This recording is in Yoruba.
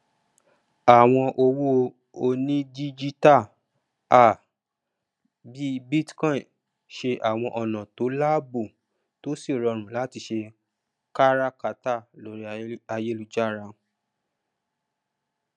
àwọn owó onídíjítà um bí bitcoin se àwọn ọnà tó lààbò tó sí rọrùn latí se káràkátà lorí ayélujára